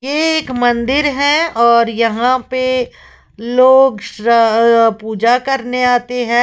यह एक मंदिर है और यहां पे लोग पूजा करने आते हैं।